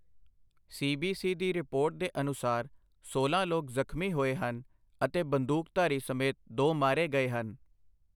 CBC ਦੀ report ਦੇ ਅਨੁਸਾਰ ਸੋਲਾਂ ਲੋਕ ਜ਼ਖਮੀ ਹੋਏ ਹਨ, ਅਤੇ ਬੰਦੂਕਧਾਰੀ ਸਮੇਤ ਦੋ ਮਾਰੇ ਗਏ ਹਨ।